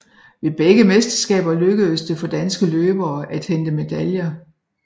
Ved begge mesterskaber lykkedes det for danske løbere at hente medaljer